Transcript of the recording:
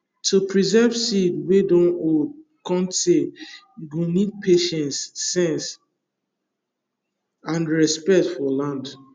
to preserve seed wey dun old cun tay you go need patience sense and respect for land